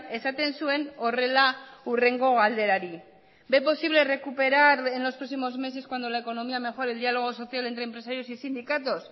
esaten zuen horrela hurrengo galderari ve posible recuperar en los próximos meses cuando la economía mejore el diálogo social entre empresarios y sindicatos